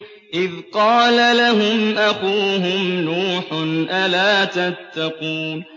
إِذْ قَالَ لَهُمْ أَخُوهُمْ نُوحٌ أَلَا تَتَّقُونَ